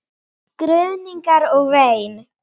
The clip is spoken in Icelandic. Skruðningar og vein.